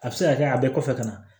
A bɛ se ka kɛ a bɛ kɔfɛ ka na